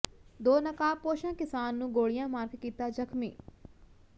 ਦੋ ਨਕਾਬਪੋਸ਼ਾਂ ਕਿਸਾਨ ਨੂੰ ਗੋਲੀਆਂ ਮਾਰ ਕੇ ਕੀਤਾ ਜ਼ਖ਼ਮੀ